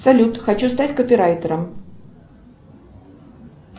салют хочу стать копирайтером